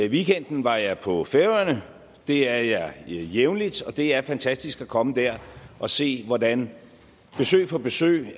weekenden var jeg på færøerne det er jeg jævnligt og det er fantastisk at komme der og se hvordan det besøg for besøg